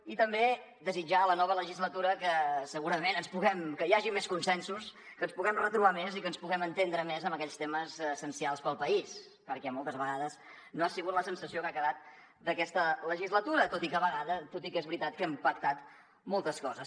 i també desitjar a la nova legislatura que hi hagi més consensos que ens puguem retrobar més i que ens puguem entendre més en aquells temes essencials per al país perquè moltes vegades no ha sigut la sensació que ha quedat d’aquesta legislatura tot i que és veritat que hem pactat moltes coses